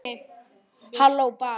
Hló bara.